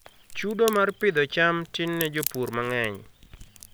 Chudo mar Pidhoo cham tin ne jopur mang'eny